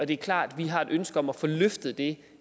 det er klart at vi har et ønske om at få løftet det